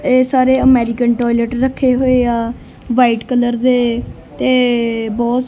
ਇਹ ਸਾਰੇ American toilet ਰੱਖੇ ਹੋਏ ਆ ਵਾਈਟ ਕਲਰ ਦੇ ਤੇ ਬਹੁਤ--